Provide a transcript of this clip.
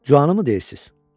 Cuanımı deyirsiz?